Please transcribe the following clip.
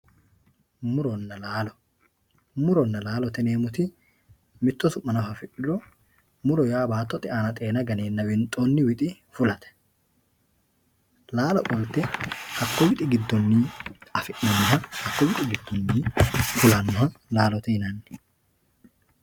Murona laalo murona laalote yinemoti mitto su`mano afidhuro muro yaa batote aana xeena ganena winxooni wixi fulate laalo qolte jaku wixi gidoni winxena fulanoha laalote yinani.